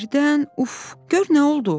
Birdən uf, gör nə oldu?